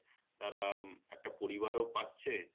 একটা পরিবার ও পাচ্ছে